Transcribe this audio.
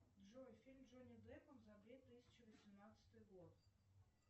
джой фильм с джонни деппом за две тысячи восемнадцатый год